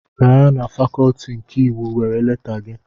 Gaa na fakọlti nke iwu were leta gị!